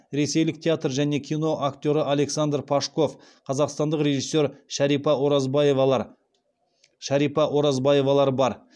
ресейлік театр және кино актері александр пашков қазақстандық режиссер шәрипа оразбаевалар бар